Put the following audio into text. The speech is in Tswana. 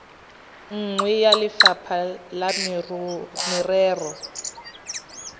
nngwe ya lefapha la merero